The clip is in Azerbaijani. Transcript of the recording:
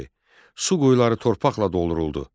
Su quyuları torpaqla dolduruldu.